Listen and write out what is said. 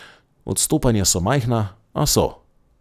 Odstopanja so majhna, a so.